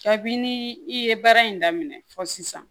Kabini i ye baara in daminɛ fɔ sisan